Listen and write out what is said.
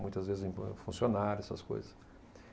Muitas vezes, funcionários, essas coisas.